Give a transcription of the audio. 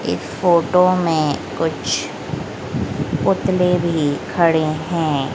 इस फोटो में कुछ पुतले भी खड़े है।